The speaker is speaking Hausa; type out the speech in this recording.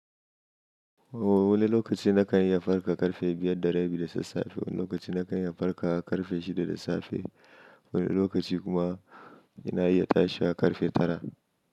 O wani lokaci na kan iya farka ƙarfe biyar da rabi da sassafe, wani lokaci na kan iya farka ƙarfe shida da safe, wani lokaci kuma ina iya tashi ƙarfe tara.